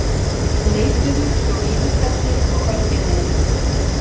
Leituðu hjá Vífilfelli og Ölgerðinni